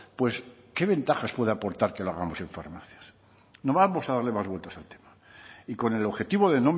pues qué ventajas puede aportar que lo hagamos en farmacias no vamos a darle más vueltas al tema y con el objetivo de